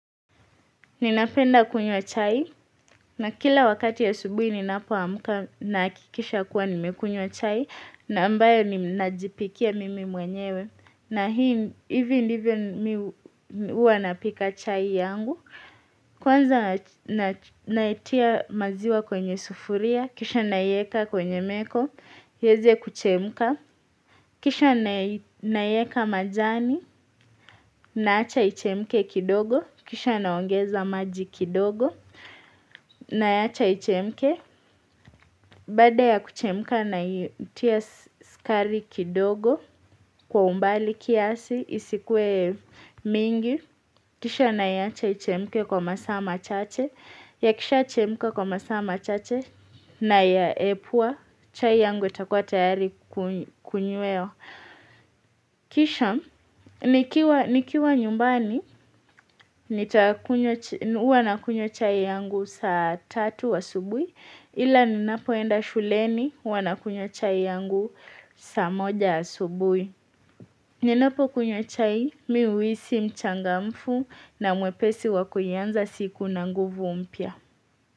Ninapenda kunywa chai, na kila wakati asubuhi ninapoamka na hakikisha kuwa nimekunywa chai, na ambayo ninajipikia mimi mwenyewe, na hii, hivi ndivyo mi huwa napika chai yangu, kwanza natia maziwa kwenye sufuria, kisha naieka kwenye meko, ieze kuchemka, kisha naieka majani, naacha ichemke kidogo, kisha naongeza maji kidogo, Naacha ichemke Baada ya kuchemka naitia sukari kidogo Kwa umbali kiasi isikuwe mingi kisha naiacha ichemke kwa masaa machache yakisha chemka kwa masaa machache Nayaepua chai yangu itakuwa tayari kunywa kunywea kisha nikiwa nyumbani nita huwa nakunywa chai yangu saa tatu asubuhi, ila ninapoenda shuleni huwa nakunywa chai yangu saa moja asubuhi. Ninapokunywa chai mi uhisi mchangamfu na mwepesi wa kuanza siku na nguvu mpya.